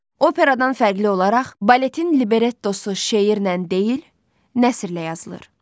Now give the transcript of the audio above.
Operadan fərqli olaraq, baletin librettosu şeirlə deyil, nəsrlə yazılır.